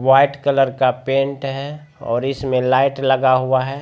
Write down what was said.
white colour का paint है और इसमें लाइट लगा हुआ है